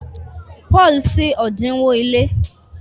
Paul ṣí odinwo ile.